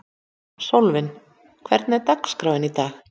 Sólvin, hvernig er dagskráin í dag?